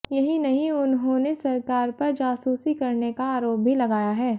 यही नहीं उन्होंने सरकार पर जासूसी करने का आरोप भी लगाया है